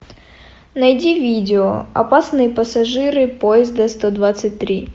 найди видео опасные пассажиры поезда сто двадцать три